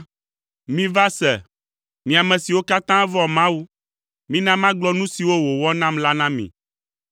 Miva se, mí ame siwo katã vɔ̃a Mawu; mina magblɔ nu siwo wòwɔ nam la na mi.